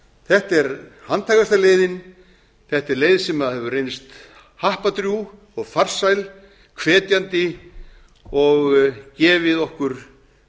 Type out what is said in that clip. þetta er handhægasta leiðin þetta er leið sem hefur reynst happadrjúg og farsæl hvetjandi og gefið okkur